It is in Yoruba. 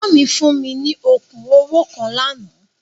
Ẹ̀gbọ́n mi fún mi ní okùn owó kan lánàá.